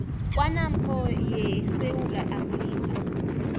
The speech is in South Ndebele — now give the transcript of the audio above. kwanppo yesewula afrika